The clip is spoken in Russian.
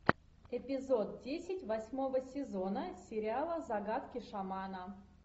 эпизод десять восьмого сезона сериала загадки шамана